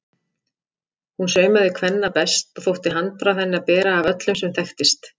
Hún saumaði kvenna best og þótti handbragð hennar bera af öllu sem þekktist.